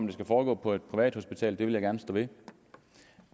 det skal foregå på et privathospital det vil jeg gerne stå ved